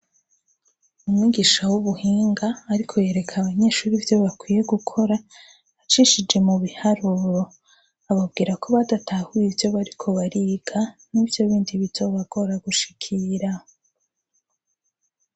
Umwigisha w'ubuhinga ariko yereka abanyeshuri ivyo bakwiye gukora ibiharuro ababwira ko badatahuye ivyo bariko bariga nivyo bindi bizobagora gushikira.